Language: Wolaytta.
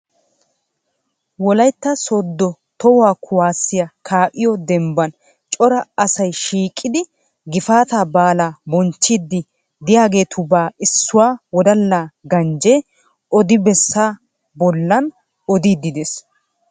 Wolayitta sooddo tuhuwa kuwasiya kaa'iyo dembban cora asay shiiqidi gifaataa baala bonchchiiddi de'iyageetubaa issui wodala ganjjee odibessa bollan odiiddi des.